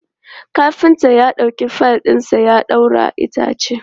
Kafintar ya ɗauko fayil ɗinsa ya ɗaura itacen.